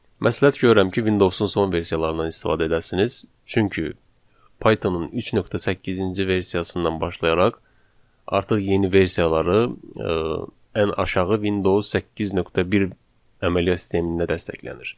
Məsləhət görürəm ki, Windows-un son versiyalarından istifadə edəsiniz, çünki Python-un 3.8-ci versiyasından başlayaraq artıq yeni versiyaları ən aşağı Windows 8.1 əməliyyat sistemində dəstəklənir.